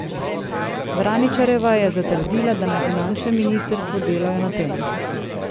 Vraničarjeva je zatrdila, da na finančnem ministrstvu delajo na tem.